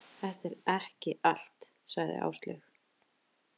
Þetta er ekki allt, sagði Áslaug.